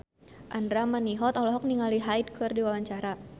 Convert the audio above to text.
Andra Manihot olohok ningali Hyde keur diwawancara